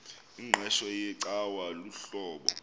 ingqeqesho yecawa luhlobo